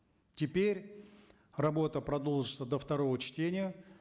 теперь работа продолжится до второго чтения